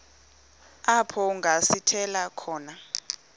apho kungasithela khona